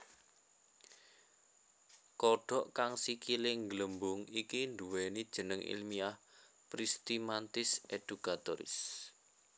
Kodhok kang sikilé ngglembung iki nduwèni jeneng ilmiah Pristimantis educatoris